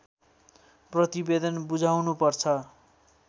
प्रतिवेदन बुझाउनु पर्छ